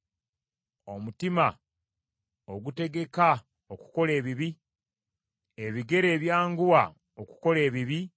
omutima ogutegeka okukola ebibi, ebigere ebyanguwa okukola ebibi,